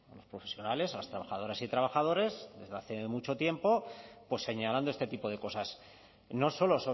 los profesionales a las trabajadoras y trabajadores desde hace mucho tiempo pues señalando este tipo de cosas no solo